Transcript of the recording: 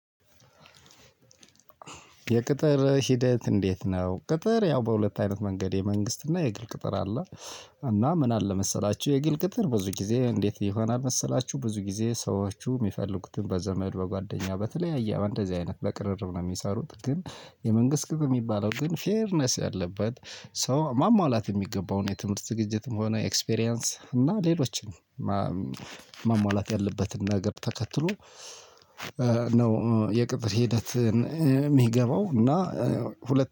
የቅጥር ሂደት እንዴት ነው? ቅጥር ያው በሁለት አይነት መንገድ የመንግስት እና የግል ቅጥር አለ። እና ምን አለ መሰላችሁ የግል ቅጥር ብዙ ጊዜ እንዴት ይሆናል መሰላችሁ? ብዙ ጊዜ ሰዎቹ የሚፈልጉትን በዘመድ በጓደኛ በተለያየ እንደዚህ አይነት በቅርርብ ነው የሚሰሩት። ግን የመንግስት ግብ የሚባለው ግን ፌርነስ ያለበት ሰው ማሟላት የሚገባው የትምህርት ዝግጅትም ሆነ ኤክስፒሪያንስ እና ሌሎችን ማሟላት ያለበትን ነገር ተከትሎ ነው። የቅጥር ሂደትን እሚገባው እና